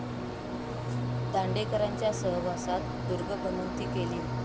दांडेकरांच्या सहवासात दुर्गभ्रमंती केली.